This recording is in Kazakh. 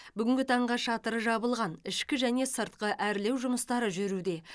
бүгінгі таңға шатыры жабылған ішкі және сыртқы әрлеу жұмыстары жүруде